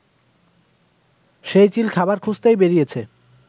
সেই চিল খাবার খুঁজতেই বেরিয়েছে